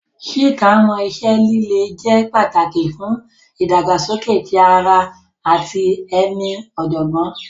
Chika mọ iṣẹ lile jẹ pataki fun idagbasoke ti ara ẹni ati ọjọgbọn.